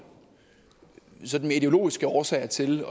sådan mere ideologiske årsager til